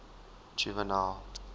juvenal